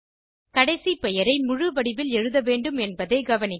கடைசி பெயரை முழுவடிவில் எழுத வேண்டும் என்பதை கவனிக்க